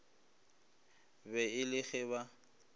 be e le ge ba